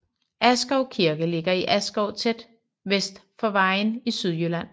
Askov Kirke ligger i Askov tæt vest for Vejen i Sydjylland